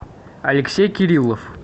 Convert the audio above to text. алексей кириллов